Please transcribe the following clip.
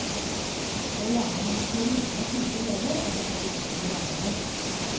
Det er gjerne når man skal roe ned slike elever, at det kan gå ut over lærere.